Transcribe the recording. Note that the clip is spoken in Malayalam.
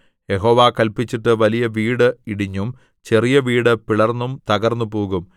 യഹോവ കല്പിച്ചിട്ട് വലിയ വീട് ഇടിഞ്ഞും ചെറിയ വീട് പിളർന്നും തകർന്നുപോകും